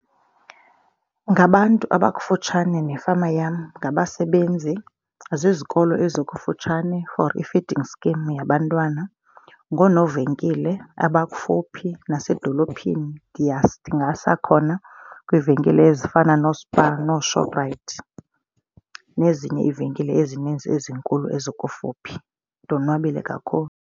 Ngabantu abakufutshane nefama yam, ngabasebenzi, zizikolo ezikufutshane for i-feeding scheme yabantwana. Ngonoovenkile abakufuphi nasedolophini. Ndiya, ndingasa khona kwiivenkile ezifana nooSpar, nooShoprite nezinye iivenkile ezininzi ezinkulu ezikufuphi. Ndonwabile kakhulu